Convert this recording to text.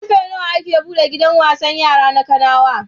Ƙarfe nawa ake buɗe gidan wasan yara na Kanawa?